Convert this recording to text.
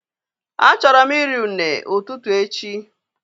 A chọrọ mụ iri une ụtụtụ echi